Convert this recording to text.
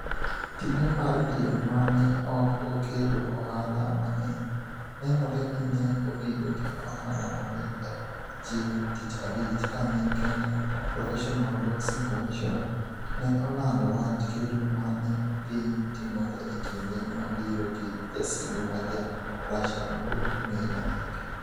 Tije mar piem ma ne ok okelo ohala mang'eny, nenore ni ne obedo gi ohala maber chieng ' Tich Abich kane Kenya Professional Boxing Commission (KPBC) ne olando wach kedo ma ne dhi timore e kinde ma biro gi jasigu ma Ja - Russia mapok ong'ere nyinge.